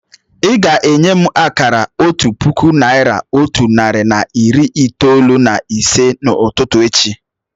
Ị́ ga-enye m akara otu puku naị́ra, otu narị na iri itoolu na ise n'ụtụtụ echi